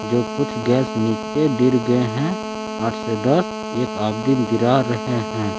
जो कुछ गैस नीचे गिर गए हैं आठ से दस। एक आदमी गिरा रहे हैं।